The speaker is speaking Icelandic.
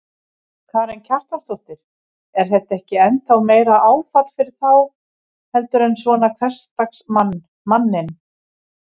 Karen Kjartansdóttir: Er þetta ekki ennþá meira áfall fyrir þá heldur en svona hversdagsmann, manninn?